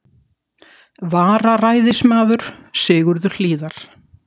vararæðismaður, Sigurður Hlíðar.